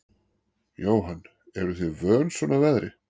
Jóhann: Eruð þið vön svona veðri?